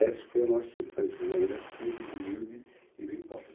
Esse foi a nossa infância, uma vida simples, humilde e bem pobre.